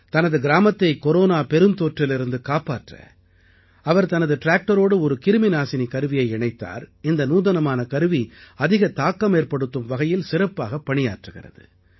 தனது கிராமத்தை கொரோனா பெருந்தொற்றிலிருந்து காப்பாற்ற அவர் தனது ட்ராக்டரோடு ஒரு கிருமிநாசினி கருவியை இணைத்தார் இந்த நூதனமான கருவி அதிக தாக்கமேற்படுத்தும் வகையில் சிறப்பாகப் பணியாற்றுகிறது